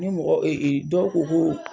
Ni mɔgɔ dɔw ko ko